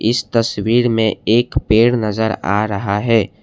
इस तस्वीर में एक पेड़ नज़र आ रहा है।